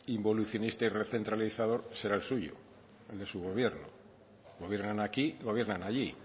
involucionista y recentralizador será el suyo el de su gobierno gobiernan aquí gobiernan allí